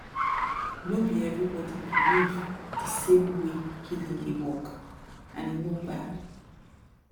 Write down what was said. no be everybody believe the same way healing dey work and e no bad